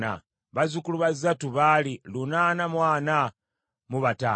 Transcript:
bazzukulu ba Zattu baali lunaana mu ana mu bataano (845),